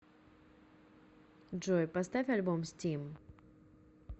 джой поставь альбом стим